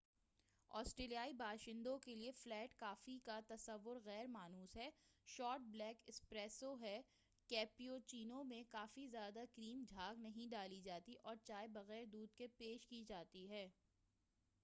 آسٹریلیائی باشندوں کیلئے flat coffee کا تصور غیر مانوس ہے۔ شارٹ بلیک 'اسپریسو' ہے، کیپوچینو میں کافی زیادہ کریم جھاگ نہیں ڈالی جاتی ہے، اور چائے بغیر دودھ کے پیش کی جاتی ہے۔